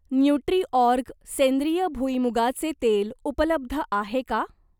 Nutriorg सेंद्रिय भुईमुगाचे तेल उपलब्ध आहे का?